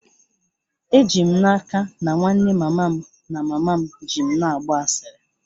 Eji m n'aka na nwanne mama m na mama m ji m na-agba asịrị